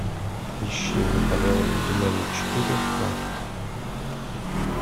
ищи наполеон динамит четыре ка